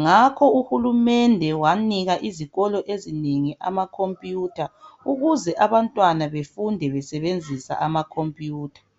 ngakho uhulumende wanika izikolo ezinengi amakhompiyutha ukuze abantwana befunde besebenzisa amakhompiyutha.